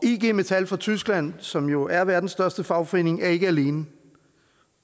ig metall fra tyskland som jo er verdens største fagforening er ikke alene